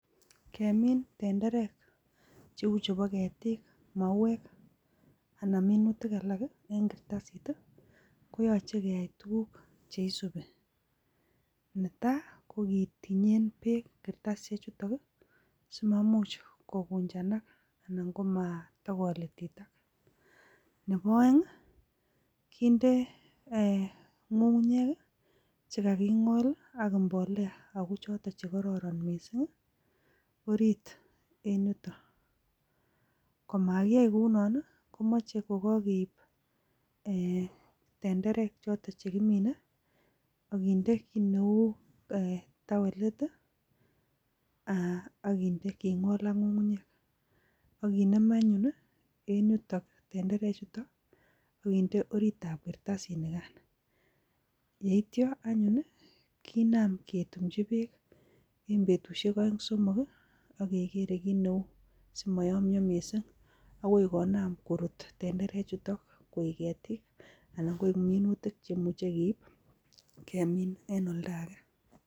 Kemin tenderek cheu chebo ketik mauek anan minutik alak eng kartasit koyoche keyai tukuk cheisubi netai kokitinyen beek kartasishek chutok simaimuch kikunjanak anan komatokolititak nebo oeng kenda ng'ung'unyek chikakingol ako mbolea ako chotok chekororon missing orit en yuto komakiyai kounon komochei kokakeip tenderek chotok chekimine akinde kiit neu tawelit akingol ak ng'ung'unyek akinem anyun eng yuto tenderechuto akende orit ap kartasishek nikan yeityo anyun kinam ketumchi beek eng betushek oeng somok akekere kiit neu simayomio missing akoi konam korut tenderechuto koek ketik anan koek minutik cheimuchei keip kemin en oldake.